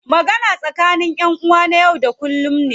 Magana tsakani ƴan uwa na yau da kullum ne.